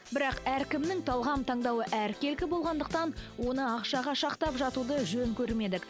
бірақ әркімнің талғам таңдауы әркелкі болғандықтан оны ақшаға шақтап жатуды жөн көрмедік